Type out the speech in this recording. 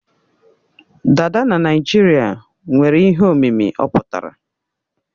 Dada na Naijiria nwere ihe omimi ọ pụtara.